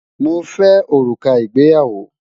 Mo fẹ orúkà ìgbéyàwó.